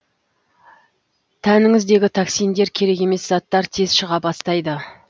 тәніңіздегі токсиндер керек емес заттар тез шыға бастайды